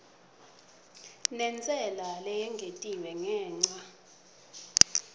nentsela leyengetiwe ngenca